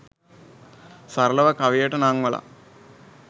සරලව කවියට නංවලා